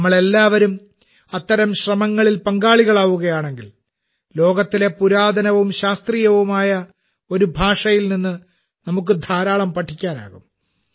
നമ്മളെല്ലാവരും അത്തരം ശ്രമങ്ങളിൽ പങ്കാളികളാകുകയാണെങ്കിൽ ലോകത്തിലെ പുരാതനവും ശാസ്ത്രീയവുമായ ഒരു ഭാഷയിൽ നിന്ന് നമുക്ക് ധാരാളം പഠിക്കാനാകും